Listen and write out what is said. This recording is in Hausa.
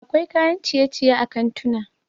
akwai kayan ciye-ciye a kantuna